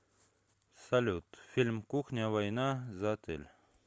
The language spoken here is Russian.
салют фильм кухня война за отель